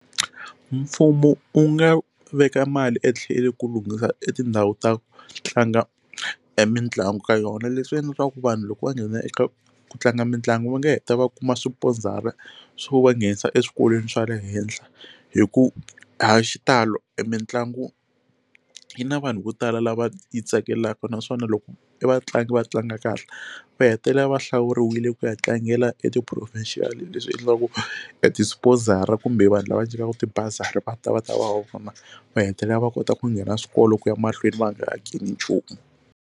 Mfumo u nga veka mali etlhelo ku lunghisa e tindhawu ta tlanga mitlangu ka yona leswi endla leswaku vanhu loko va nghena eka ku tlanga mitlangu va nga heta va kuma sponsor swo va nghenisa eswikolweni swa le henhla hi ku hi xitalo e mitlangu yi na vanhu vo tala lava yi tsakelaka naswona loko e vatlangi va tlanga kahle va hetelela va hlawuriwile ku ya tlangela e ti professional leswi endlaku e ti sponsor kumbe vanhu lava nyikaka ti bazari va ta va ta va va vona va hetelela va kota ku nghena swikolo ku ya mahlweni va nga hakeli nchumu.